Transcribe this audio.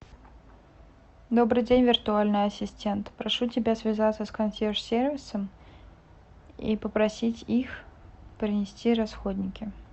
добрый день виртуальный ассистент прошу тебя связаться с консьерж сервисом и попросить их принести расходники